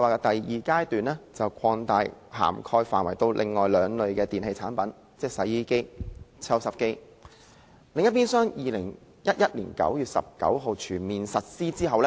第二階段把涵蓋範圍擴大至另外兩類電器產品，即洗衣機和抽濕機，並於2011年9月19日全面實施。